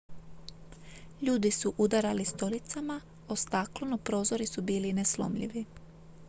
ljudi su udarali stolicama o staklo no prozori su bili neslomljivi